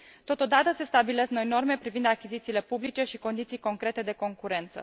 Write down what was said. Totodată, se stabilesc noi norme privind achizițiile publice și condiții concrete de concurență.